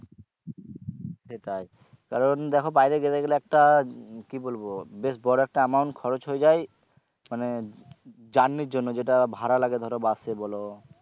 সেটাই কারণ দেখো বাইরে যেতে গেলে একটা কি বলবো বেশ বড়ো একটা amount খরচ হয়ে যায় মানে journey র জন্য যেটা ভাড়া লাগে ধরো bus এ বলো